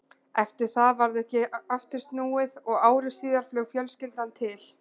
Eftir það varð ekki aftur snúið og ári síðar flaug fjölskyldan til